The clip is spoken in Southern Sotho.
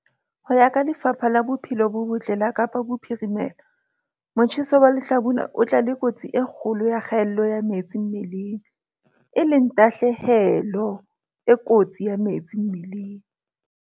Ho ya ka Lefapha la Bophelo bo Botle la Kapa Bophirimela, motjheso wa lehlabula o tla le kotsi e kgolo ya kgaello ya metsi mmeleng, e leng tahlehelo e kotsi ya metsi mmeleng.